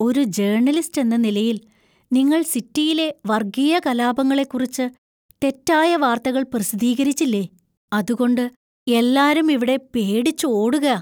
ഒരു ജേര്‍ണലിസ്റ്റ് എന്ന നിലയിൽ നിങ്ങൾ സിറ്റിയിലെ വർഗീയ കലാപങ്ങളെക്കുറിച്ച് തെറ്റായ വാർത്തകൾ പ്രസിദ്ധീകരിച്ചില്ലേ? അതുകൊണ്ട് എല്ലാരും ഇവിടെ പേടിച്ച് ഓടുകാ.